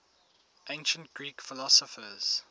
ancient greek philosophers